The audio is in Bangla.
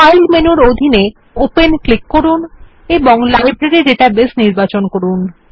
ফাইল মেনুর অধীনে ওপেন এ ক্লিক করুন এবং লাইব্রেরী ডেটাবেস নির্বাচন করুন